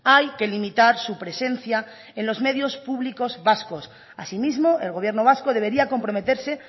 hay que limitar su presencia en los medios públicos vascos asimismo el gobierno vasco debería comprometerse